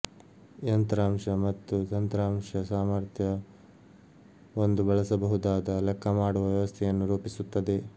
ಯಂತ್ರಾಂಶ ಮತ್ತು ತಂತ್ರಾಂಶ ಸಾಮಾರ್ಥ್ಯ ಒಂದು ಬಳಸಬಹುದಾದ ಲೆಕ್ಕ ಮಾಡುವ ವ್ಯವಸ್ಥೆಯನ್ನು ರೂಪಿಸುತ್ತದೆ